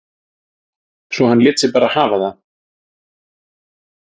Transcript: Svo hann lét sig bara hafa það